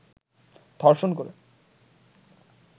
ধর্ষণ করে